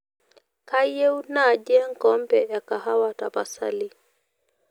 kayieu nai enkombee ekahawa tapasali